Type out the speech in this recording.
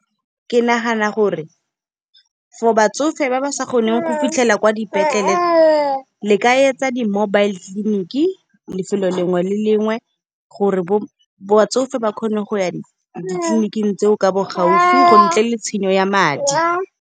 Ke nagana gore for batsofe ba ba sa kgoneng go fitlhela kwa dipetleleng, le ka etsa di-mobile clinic, lefelo lengwe le lengwe, gore batsofe ba kgone go ya ditleliniking tseo ka bo gaufi go ntle le tshenyo ya madi.